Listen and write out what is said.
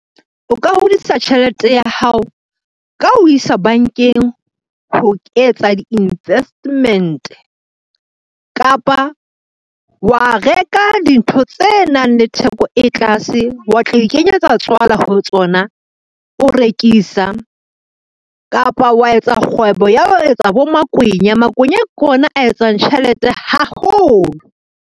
O ka hodisa tjhelete ya hao ka ho isa bankeng ho etsa di-investment. Kapa wa reka dintho tse nang le theko e tlase, wa tla ikenyetsa tswala ho tsona o rekisa, kapa wa etsa kgwebo ya ho etsa bo makwenya, makwenya ke ona a etsang tjhelete haholo.